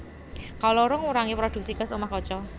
Kaloro ngurangi prodhuksi gas omah kaca